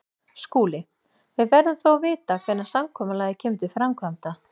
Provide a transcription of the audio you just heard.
SKÚLI: Við verðum þó að vita hvenær samkomulagið kemur til framkvæmda.